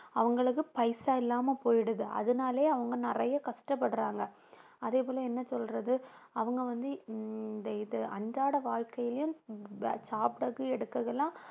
அவங்களுக்கு பைசா இல்லாம போயிடுது அதனாலயே அவங்க நிறைய கஷ்டப்படுறாங்க அதே போல என்ன சொல்றது அவங்க வந்து இந்த இது அன்றாட வாழ்க்கையிலும் சாப்பிடறது எடுக்கறது எல்லாம்